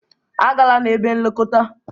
A gala n'ebe nlekọta!